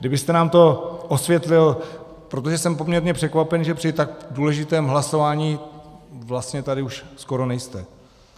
Kdybyste nám to osvětlil, protože jsem poměrně překvapen, že při tak důležitém hlasování vlastně tady už skoro nejste.